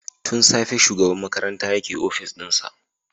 Tun safe shugaban makarantayake opis dinsa.